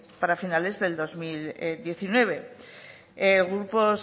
para finales del dos mil diecinueve grupos